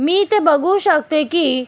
मी इथ बघू शकते कि--